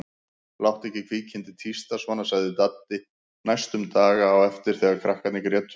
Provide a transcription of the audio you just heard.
Láttu ekki kvikindið tísta svona sagði Dadda næstu daga á eftir þegar krakkarnir grétu.